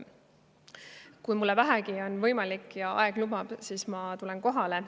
Kui mul vähegi on võimalik ja aeg lubab, siis ma tulen kohale.